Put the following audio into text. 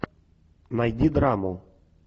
найди драму